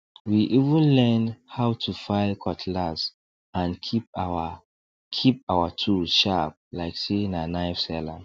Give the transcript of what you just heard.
we even learn how to file cutlass and keep our keep our tools sharp like say na knife seller